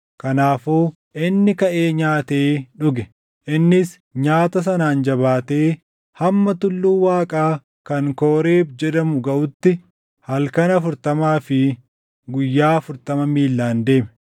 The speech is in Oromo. Kanaafuu inni kaʼee nyaatee dhuge. Innis nyaata sanaan jabaatee hamma tulluu Waaqaa kan Kooreeb jedhamu gaʼutti halkan afurtamaa fi guyyaa afurtama miillaan deeme.